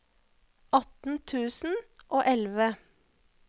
atten tusen og elleve